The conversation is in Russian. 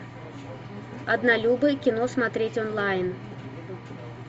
однолюбы кино смотреть онлайн